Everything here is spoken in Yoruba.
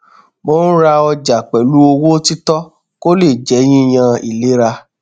mo ń ra ọjà pẹlú owó títọ kó le jẹ yíyan ìlera